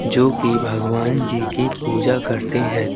जो की भगवान जी की पूजा करते हैं|